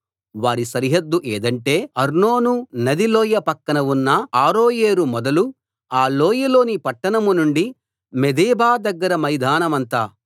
వారి సరిహద్దు ఏదంటే అర్నోను నది లోయ పక్కన ఉన్న అరోయేరు మొదలు ఆ లోయలోని పట్టణం నుండి మేదెబా దగ్గర మైదానమంతా